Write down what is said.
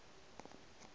ba ba le tšebo ya